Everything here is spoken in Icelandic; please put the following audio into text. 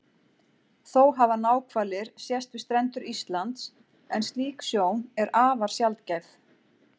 Þó hafa náhvalir sést við strendur Íslands en slík sjón er afar sjaldgæf.